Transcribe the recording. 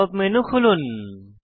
pop up menu খুলুন